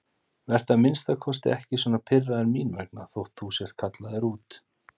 Vertu að minnsta kosti ekki svona pirraður mín vegna þótt þú sért kallaður út.